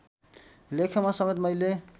लेखमा समेत मैले